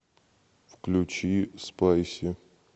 включи спайси